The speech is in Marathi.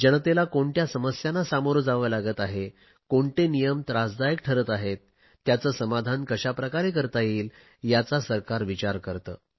जनतेला कोणत्या समस्यांना सामोरे जावे लागत आहे कोणते नियम त्रासदायक ठरत आहेत त्याचे समाधान कशाप्रकारे करता येईल याचा सरकार विचार करते